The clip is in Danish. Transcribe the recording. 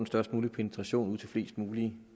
størst mulige penetration ud til flest mulige